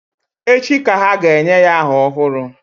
Echi ka ha ga-enye ya aha ọhụrụ